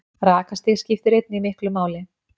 Rakastig skiptir einnig miklu máli.